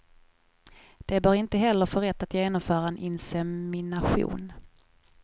De bör inte heller få rätt att genomföra en insemination.